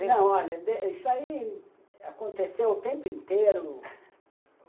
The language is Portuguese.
Não, olha, isso aí aconteceu o tempo inteiro